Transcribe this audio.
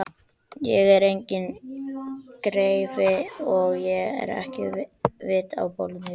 Ég er enginn greifi og hef ekkert vit á pólitík.